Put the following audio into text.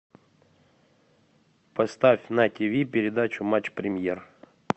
поставь на тв передачу матч премьер